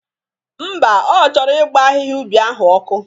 Ḿbà, Ọ chọrọ ịgba ahịhịa ubi ahụ ọkụ.